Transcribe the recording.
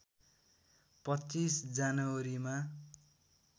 २५ जनवरी मा